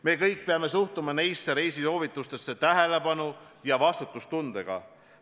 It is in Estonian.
Me kõik peame suhtuma nendesse reisisoovitustesse tähelepanu ja vastutustundega.